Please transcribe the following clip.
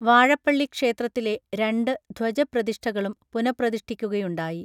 വാഴപ്പള്ളിക്ഷേത്രത്തിലെ രണ്ടു ധ്വജപ്രതിഷ്ഠകളും പുനഃപ്രതിഷ്ഠിക്കുകയുണ്ടായി